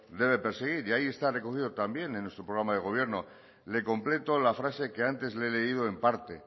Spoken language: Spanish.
debe perseguir y ahí está recogido también en nuestro programa de gobierno le completo la frase que antes le he leído en parte